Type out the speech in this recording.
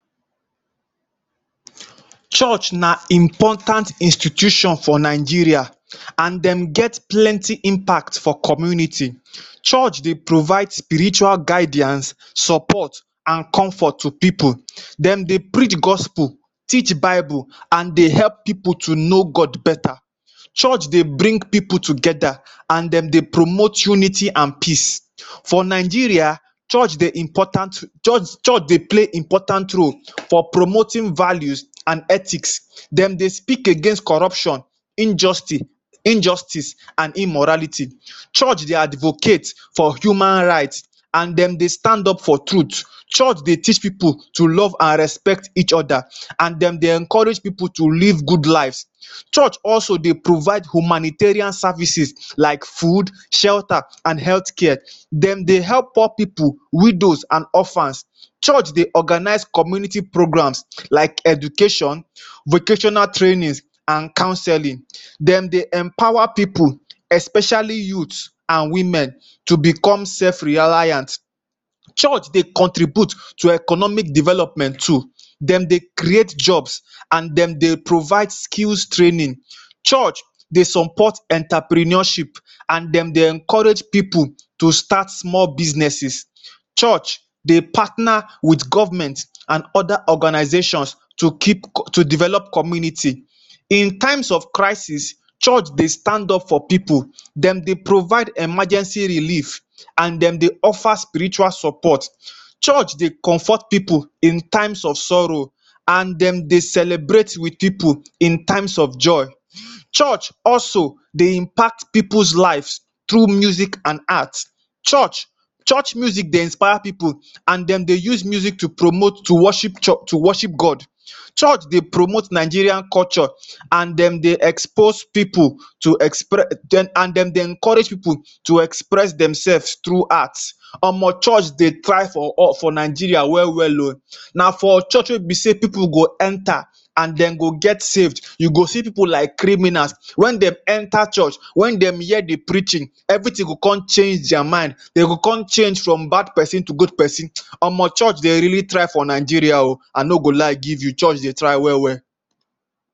um Church na important institution for Nigeria and dem get plenty impact for community. Church dey provide spiritual guidance, support and comfort to pipu. Dem dey preach gospel, teach bible and dey help pipu to know God better. Church dey bring people together and dem dey promote unity and peace um. For Nigeria, church dey important, church church dey play important role for promoting value and ethic. Dem dey speak against corruption, injusty injustice and immorality um. Church dey advocate for human right and dem dey stand up for truth. Church dey teach pipu to love and respect each other and dem dey encourage pipu to live good life. Church also dey provide humanitarian services like food, shelter and health care. Dem dey help poor pipu, widows and orphans. Church dey organized community programs like education, vocational trainings and councelling. Dem dey empower pipu,, especially youth and women to become self-reliance. Church dey contribute to economic development too. Dem dey create jobs and dem dey provide skills training. Church dey support entrepreneurship and dem dey encourage pipu to start small businesses. Church dey partner with government and other organizations to keep to develop communities. In times of crisis, church dey stand up for pipu. Dem dey provide emergency relief and dem dey offer spiritual support. Church dey comfort pipu in time of sorrow and dem dey celebrate with pipu in times of joy. Church also dey impact pipu's life through music and art. Church church music dey inspire pipu and dem dey use music to promote to worship church to worship God. Church dey promote Nigerian culture and dem dey expose pipu to express and dem dey encourage pipu to express demself through art. Omo church dey try for us for Nigeria well well oh. Na for church wey be sey pipu go enter and dem go get saved. You go see pipu like criminals, when dem enter church, when dem hear the preaching, everything go con change their mind. They go con change from bad pesin to good pesin. Omo church dey really try for Nigeria oh. I no go lie give you, church dey try well well.